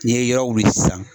N'i ye yɔrɔ wuli sisan